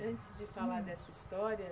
Antes de falar dessa história